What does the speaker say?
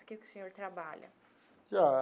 O que que o senhor trabalha?